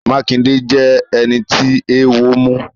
Makinde jẹ ẹni tí eewo mu.